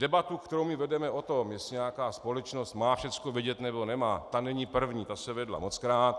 Debatu, kterou my vedeme o tom, jestli nějaká společnost má všechno vědět, nebo nemá, ta není první, ta se vedla mockrát.